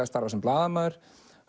starfað sem blaðamaður